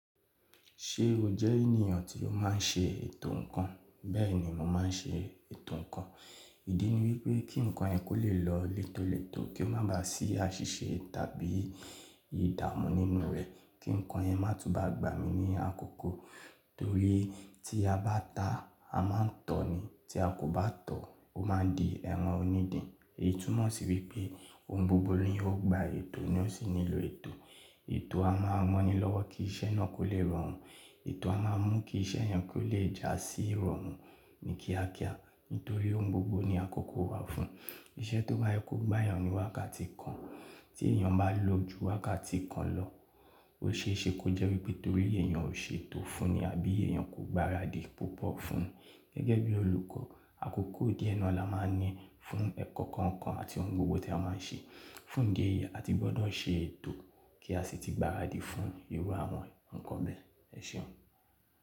Ṣé o jẹ́ ènìyàn tí o máa ń ṣe ètò nǹkan? Bẹ́ẹ̀ni mo máa ń ṣe ètò nǹkan. Ìdí ni wípé kí nǹkan yẹn kó lè lọ létolètó, kó má ba à sí àṣìṣe tàbí ìdààmú nínú rẹ̀. Kí nǹkan yẹn má tú bá gbà mí ní àkókò. Torí tí a bá ta, a máa ń tọ̀ni. Tí a kò bá tọ̀, ó máa di ẹ̀rọ onídìn. Ìtúmọ̀ sì wípé ohun gbogbo ní ó gba ètò ni ó sì nílò ètò. Ètò a máa rán ni lọ́wọ́ kí iṣẹ́ náà kó lè rọrùn. Ètò a máa mú kí iṣẹ́ yen kó lè jásí irọrùn ní kíákíá. Nítorí ohun gbogbo ní àkókò wà fún un. Iṣẹ́ tó bá ye ko gbá èèyàn ní wákàtí kan, tí èèyàn bá lọ ju wákàtí kan lọ, ó ṣe é ṣe kó jẹ́ wípé torí èèyàn ò ṣe ètò fúnni àbí èèyàn kò gbaradì púpọ̀ fún un. Gẹ́gẹ́ bí olùkọ́, àkókò díẹ̀ náà la máa ń ní fún ẹ̀kọ́ kọ̀ọ̀kan àti ohun gbogbo tí a máa ń ṣe. Fún idi eyi, a ti gbọ́dọ̀ ṣe ètò kí a sì ti gbaradì fún irú àwọn nǹkan bẹ́ẹ̀. Ẹ ṣeun.